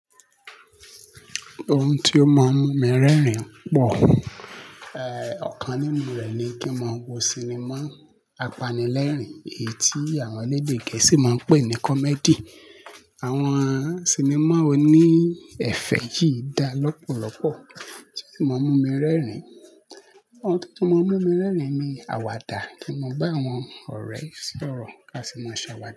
Ohun tó máa ń mú mi rẹ́rìn-ín pọ̀, eh, ọ̀kan nínú rẹ̀ ni kí n máa wo sinimá apanilẹ́rìn-ín, èyí tí àwọn elédè Gẹ̀ẹ́sì máa ń pè ní comedy. Àwọn sinimá oní ẹ̀fẹ̀ yìí dá lọ́pọ̀lọpọ̀ tí ó sì máa ń mú mi rẹ́rìn-ín. Ohun tó máa ń mú mi rẹ́rìn-ín ni àwàdà kí n ma ba àwọn ọ̀rẹ́ sọ̀rọ̀ ká sì máa sàwàdà.